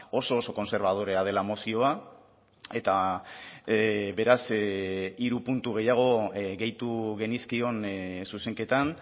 oso oso kontserbadorea dela mozioa eta beraz hiru puntu gehiago gehitu genizkion zuzenketan